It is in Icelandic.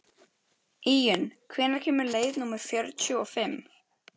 Íunn, hvenær kemur leið númer fjörutíu og fimm?